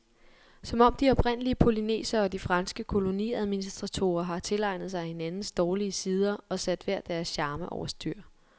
Som om de oprindelige polynesiere og de franske koloniadministratorer har tilegnet sig hinandens dårlige sider og sat hver deres charme over styr.